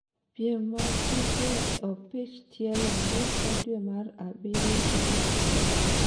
piem mag tuke opich tielo ngeso dwe mar abiriyo tarik abiriyo